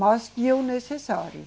Mas tinha o necessário.